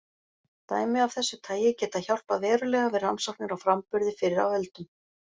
Dæmi af þessu tagi geta hjálpað verulega við rannsóknir á framburði fyrr á öldum.